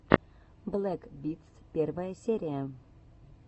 блэк битс первая серия